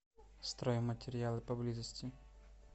стройматериалы поблизости